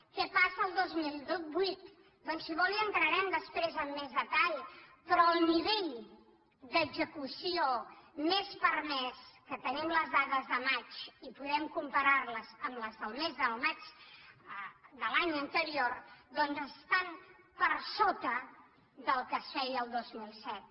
què passa el dos mil vuit doncs si vol hi entrarem després amb més detall però el nivell d’execució més permès que tenim les dades de maig i podem comparar·les amb les del mes de maig de l’any anterior doncs estan per sota del que es feia el dos mil set